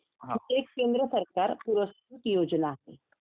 अच्छा हा